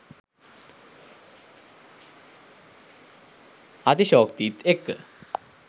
අතිශෝක්තිත් එක්ක .